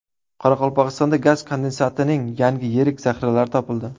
Qoraqalpog‘istonda gaz kondensatining yangi yirik zaxiralari topildi.